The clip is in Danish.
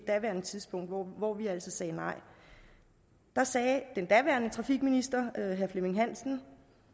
daværende tidspunkt hvor hvor vi altså sagde nej sagde den daværende trafikminister herre flemming hansen